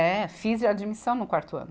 É, fiz admissão no quarto ano.